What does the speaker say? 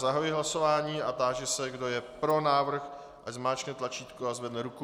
Zahajuji hlasování a táži se, kdo je pro návrh, ať zmáčkne tlačítko a zvedne ruku.